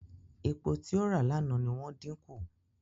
Epo tí ó rà lánàá ni wọ́n dín kù.